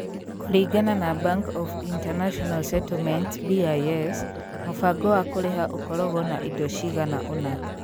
Kũringana na Bank of International Settlements (BIS), mũbango wa kũrĩha ũkoragwo na indo cigana ũna.